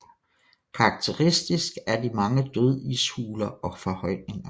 Karakteristisk er de mange dødishuler og forhøjninger